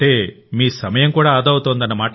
అంటే మీ సమయం కూడా ఆదా అవుతుంది